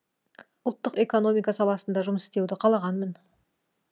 ұлттық экономика саласында жұмыс істеуді қалағанмын